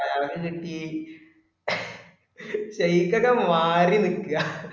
അയാൾക് കിട്ടി ഷെയ്ഖ് ഒക്കെ മാറി നിക്ക